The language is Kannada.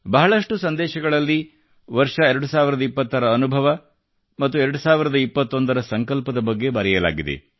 ಬಹಳಷ್ಟು ಸಂದೇಶಗಳಲ್ಲಿ ಕಳೆದ ವರ್ಷದ ಅನುಭವ ಮತ್ತು 2021 ರ ಸಂಕಲ್ಪದ ಬಗ್ಗೆ ಬರೆಯಲಾಗಿದೆ